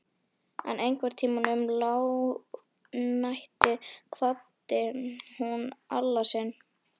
En einhvern tíma um lágnættið kvaddi hún Alla sinn.